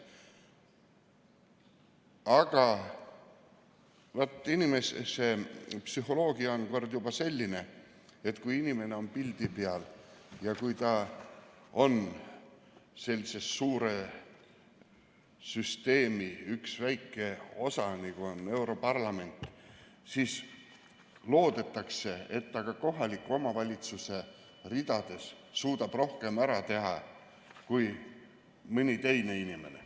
Aga inimese psühholoogia on kord juba selline, et kui keegi on pildi peal ja kui ta on sellise suure süsteemi, nagu on europarlament, üks väike osa, siis loodetakse, et ta kohaliku omavalitsuse ridades suudab rohkem ära teha kui mõni teine inimene.